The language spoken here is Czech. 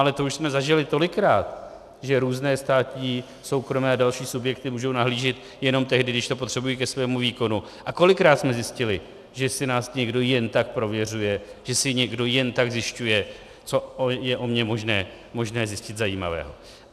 Ale to už jsme zažili tolikrát, že různé státní, soukromé a další subjekty můžou nahlížet jenom tehdy, když to potřebují ke svému výkonu, a kolikrát jsme zjistili, že si nás někdo jen tak prověřuje, že si někdo jen tak zjišťuje, co je o mně možné zjistit zajímavého.